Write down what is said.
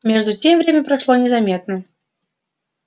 между тем время прошло незаметно